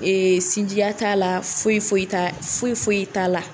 Ee sinjiya t'a la foyi foyi t'a foyi foyi t'a la